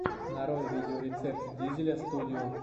нарой видеорецепт дизеля студио